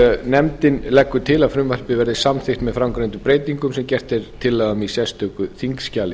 nefndin leggur til að frumvarpið verði samþykkt með framangreindum breytingum sem gerð er tillaga um í sérstöku þingskjali